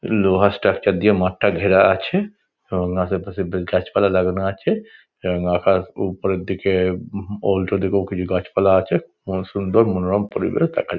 লোহার স্ট্রাকচার দিয়ে মাঠটা ঘেরা আছে এবং আশেপাশে বেশ গাছপালা লাগানো আছে এবং আকাশ ওপরের দিকে উল্টো দিকেও কিছু গাছপালা আছে খুব সুন্দর মনোরম পরিবেশ দেখা যা --